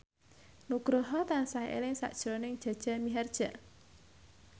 Nugroho tansah eling sakjroning Jaja Mihardja